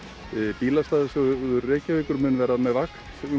bílastæðasjóður Reykjavíkur mun verða vakt